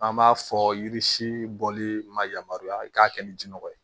An b'a fɔ yiri si bɔli ma yamaruya i k'a kɛ ni jinɔgɔ ye